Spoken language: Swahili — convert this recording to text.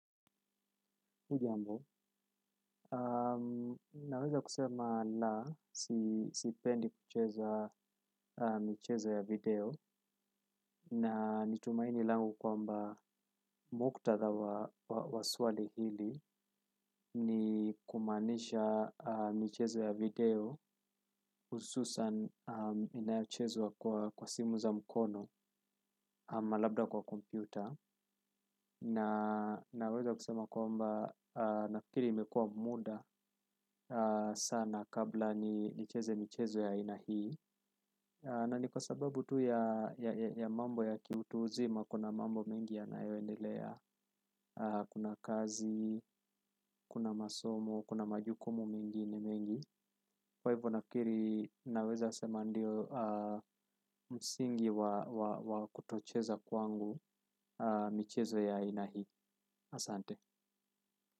Hujambo naweza kusema na sipendi kucheza michezo ya video na nitumaini langu kwamba muktadha wa swali hili ni kumanisha michezo ya video hususan inayochezwa kwa simu za mkono ama labda kwa kompyuta. Naweza kusema kwamba nafikiri imekuwa muda sana kabla nicheze michezo ya aina hii na ni kwa sababu tu ya mambo ya kiutu uzima kuna mambo mengi yanayoendelea kuna kazi, kuna masomo, kuna majukumu mengine mengi kwa hivyo nafikiri naweza sema ndio msingi wa kutocheza kwangu michezo ya aina hii.